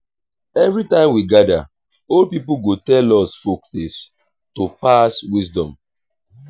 every time we gather old people go tell us folktales to pass wisdom.